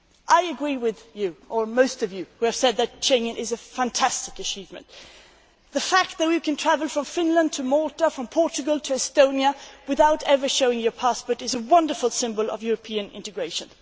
Turning to Schengen, I agree with you or most of you who have said that Schengen is a fantastic achievement. The fact that we can travel from Finland to Malta, from Portugal to Estonia, without ever showing a passport is a wonderful symbol of European integration.